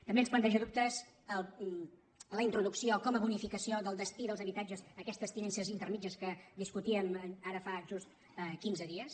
també ens planteja dubtes la introducció com a bonificació del destí dels habitatges aquestes tinences intermèdies que discutíem ara fa just quinze dies